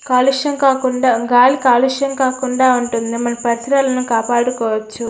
కాలుష్యం కాకుండా గాలి కాలుష్యం కాకుండా ఉంటుంది. మన పరిసరాలను కాపాడుకోవచ్చు.